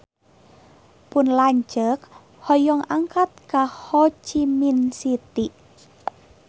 Pun lanceuk hoyong angkat ka Ho Chi Minh City